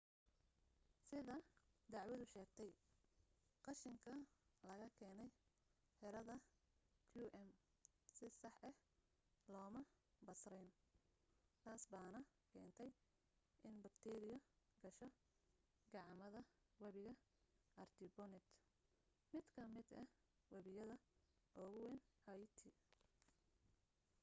sida dacwadu sheegtay qashinka laga keenay xerada qm si sax ah looma basrin taasbaana keentay in bakteeriyo gasho gacamada webiga artibonite mid ka mid ah webiyada ugu wayn haiti